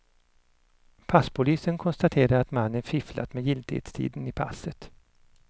Passpolisen konstaterade att mannen fifflat med giltighetstiden i passet.